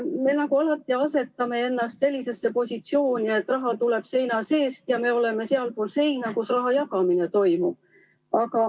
Me alati asetame ennast nagu sellisesse positsiooni, et raha tuleb seina seest ja meie oleme sealpool seina, kus raha jagamine toimub.